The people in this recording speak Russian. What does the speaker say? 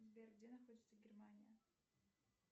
сбер где находится германия